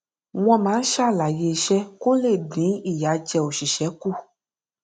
wọn máa ń ṣàlàyé iṣẹ kó le dín ìyàjẹ oṣìṣẹ kù